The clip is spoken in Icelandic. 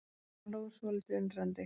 Hann hló svolítið undrandi.